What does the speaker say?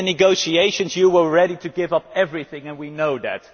In the negotiations you were ready to give up everything and we know that.